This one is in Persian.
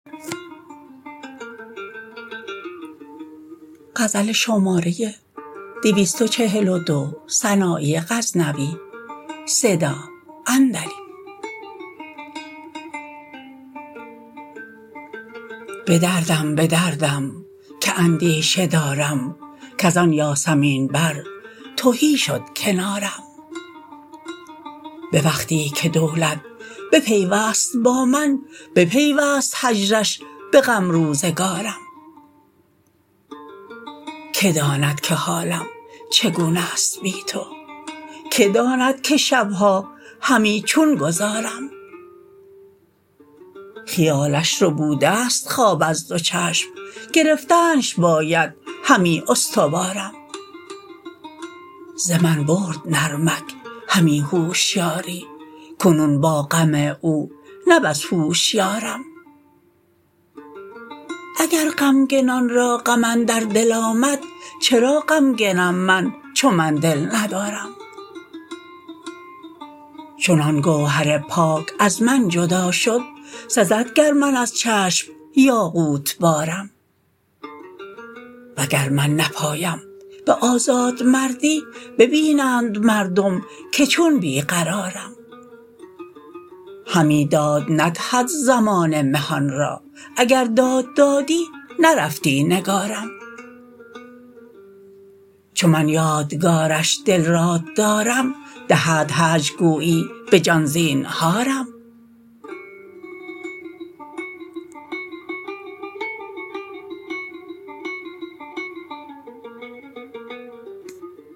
به دردم به دردم که اندیشه دارم کز آن یاسمین بر تهی شد کنارم به وقتی که دولت بپیوست با من بپیوست هجرش به غم روزگارم که داند که حالم چگونست بی تو که داند که شبها همی چون گذارم خیالش ربودست خواب از دو چشم گرفتنش باید همی استوارم ز من برد نرمک همی هوشیاری کنون با غم او نه بس هوشیارم اگر غمگنان را غم اندر دل آمد چرا غمگنم من چو من دل ندارم چون آن گوهر پاک از من جدا شد سزد گر من از چشم یاقوت بارم وگر من نپایم به آزاد مردی ببینند مردم که چون بی قرارم همی داد ندهد زمانه مهان را اگر داد دادی نرفتی نگارم چو من یادگارش دل راد دارم دهد هجر گویی به جان زینهارم